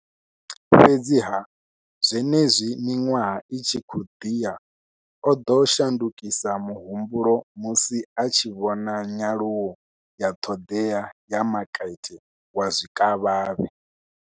Fhedziha, zwenezwi miṅwaha i tshi khou ḓi ya, o ḓo shandukisa muhumbulo musi a tshi vhona nyaluwo ya ṱhoḓea ya makete wa zwikavhavhe.